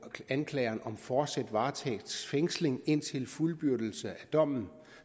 anklageren om fortsat varetægtsfængsling indtil fuldbyrdelse af dommen